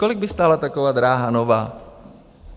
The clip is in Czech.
Kolik by stála taková dráha nová?